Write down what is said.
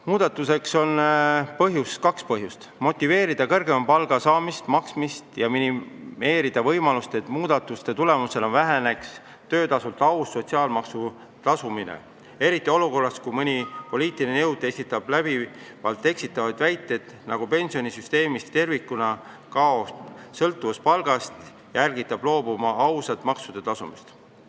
Muudatuseks on kaks põhjust: motiveerida kõrgema palga saamist ja maksmist ning minimeerida võimalust, et muudatuste tulemusena väheneks töötasult aus sotsiaalmaksu tasumine, eriti olukorras, kus mõni poliitiline jõud esitab läbivalt eksitavaid väiteid, nagu pensionisüsteemist tervikuna kaoks sõltuvus palgast, ja ärgitab loobuma ausast maksude tasumisest.